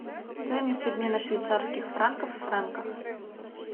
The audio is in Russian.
стоимость обмена швейцарских франков в франках